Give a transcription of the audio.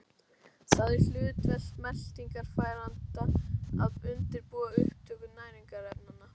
Það er hlutverk meltingarfæranna að undirbúa upptöku næringarefnanna.